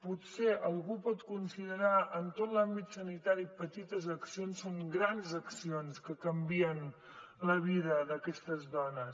potser algú pot considerar en tot l’àmbit sanitari petites accions doncs són grans accions que canvien la vida d’aquestes dones